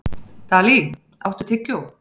Dalí, áttu tyggjó?